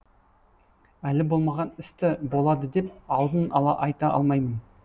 әлі болмаған істі болады деп алдын ала айта алмаймын